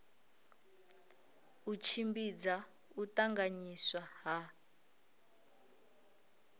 u tshimbidza u tanganyiswa ha